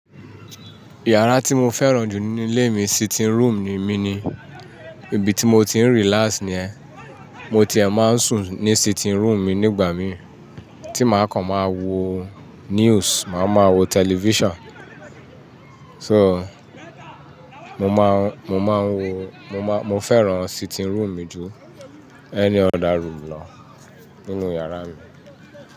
Yàrá tí mo fẹ́ràn jù nílé mi sitting room mi ni, ibi tí mo ti ń relax ni yen. Mo ti è máa ń sùn ní sitting room mi nígbà mìí tí màá kàn máa wo news, màá máa wo television. So, mo máa ń, mo máa ń wo, mo máa, mo fẹ́ràn sitting room mi jù any other room lọ nínú yàrá mi.